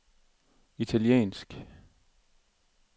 italiensk